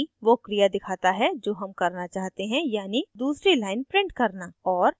p वो क्रिया दिखाता है जो हम करना चाहते हैं यानी दूसरी line print करना